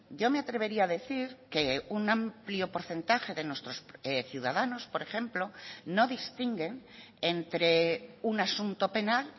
yo me atrevería a decir que un amplio porcentaje de nuestros ciudadanos por ejemplo no distinguen entre un asunto penal